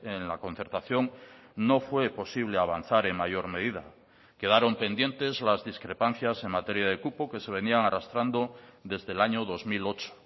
en la concertación no fue posible avanzar en mayor medida quedaron pendientes las discrepancias en materia de cupo que se venían arrastrando desde el año dos mil ocho